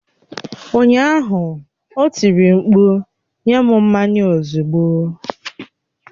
Ụnyaahụ, o tiri mkpu nye m mmanya m ozugbo!